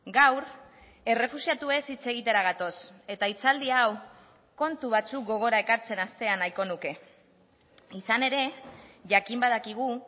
gaur errefuxiatuez hitz egitera gatoz eta hitzaldi hau kontu batzuk gogora ekartzen hastea nahiko nuke izan ere jakin badakigu